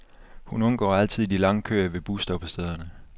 Hun undgår altid de lange køer ved busstoppestederne.